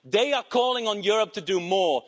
They are calling on Europe to do more.